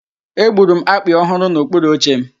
Egburu m akpị ọ hụrụ n'okpuru oche m.